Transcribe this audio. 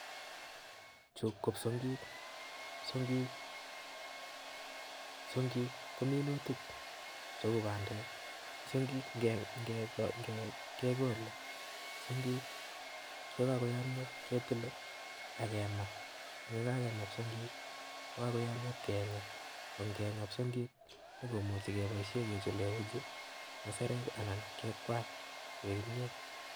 Chuu ko psong'ik, psong'ik kominutik cheuu bandek, psong'ik ng'ekol, psong'ik chekokoyomnyo ketile ak kemaa ak yekakema psong'ik kokoyomnyo iib keng'a, ko nge'nga psong'ik komuchi keboishen kechulen uchi, musarek anan kekwany koik kimnyet.